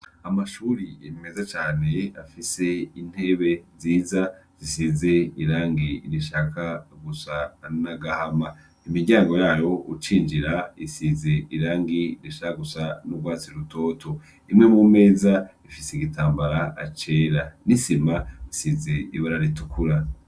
Amashure meza can' afis' intebe nziza zisiz' irangi rishaka gusa n'agahama, imiryango yay' ucinjir' isiz'irangi rishaka gusa n' urwatsi rutoto, imwe mu mez' ifis' igitambara cera, isim' isiz' ibara ritukura.